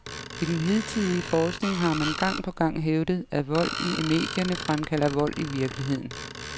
I den hidtidige forskning har man gang på gang hævdet, at vold i medierne fremkalder vold i virkeligheden.